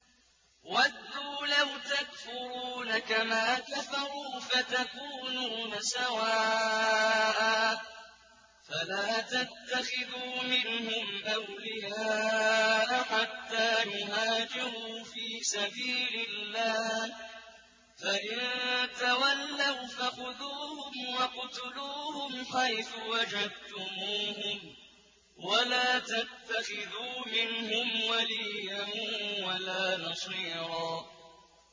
وَدُّوا لَوْ تَكْفُرُونَ كَمَا كَفَرُوا فَتَكُونُونَ سَوَاءً ۖ فَلَا تَتَّخِذُوا مِنْهُمْ أَوْلِيَاءَ حَتَّىٰ يُهَاجِرُوا فِي سَبِيلِ اللَّهِ ۚ فَإِن تَوَلَّوْا فَخُذُوهُمْ وَاقْتُلُوهُمْ حَيْثُ وَجَدتُّمُوهُمْ ۖ وَلَا تَتَّخِذُوا مِنْهُمْ وَلِيًّا وَلَا نَصِيرًا